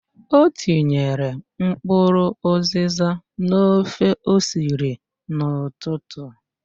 O tinyere mkpụrụ ụzịza n'ofe o siri n'ụtụtụ.